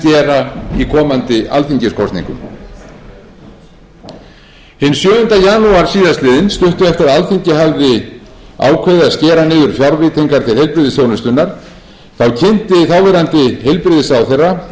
gera í komandi alþingiskosningum hinn sjöunda janúar síðastliðinn stuttu eftir að alþingi hafði ákveðið að skera niður fjárveitingar til heilbrigðisþjónustunnar þá kynnti þáverandi heilbrigðisráðherra